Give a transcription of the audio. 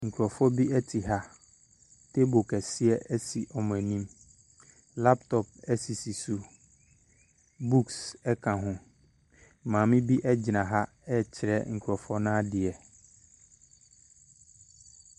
Nkurɔfoɔ bi te ha. Table kɛseɛ si wɔn anim. Laptop sisi so. Books ka ho. Maame bi gyina ha rekyerɛ nkurɔfoɔ no adeɛ.